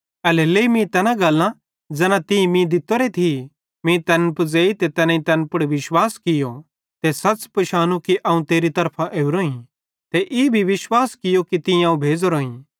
एल्हेरेलेइ मीं तैना गल्लां ज़ैना तीं मीं दित्तोरी थी मीं तैन पुज़ेई ते तैनेईं तैन पुड़ विश्वास कियो ते सच़ पिशानू कि अवं तेरी तरफां ओरोईं ते ई भी विश्वास कियो कि तीं अवं भेज़ोरोईं